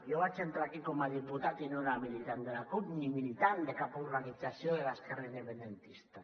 jo vaig entrar aquí com a diputat i no era militant de la cup ni militant de cap organització de l’esquerra independentista